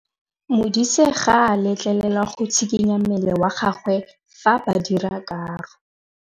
Modise ga a letlelelwa go tshikinya mmele wa gagwe fa ba dira karô.